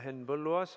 Henn Põlluaas.